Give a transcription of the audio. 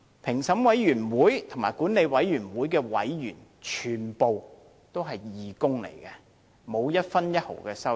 評審委員會和管理委員會的委員全部都是義工，並沒有分毫收入。